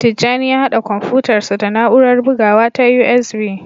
Tijjani ya haɗa kwamfutarsa da na'urar bugawa ta USB.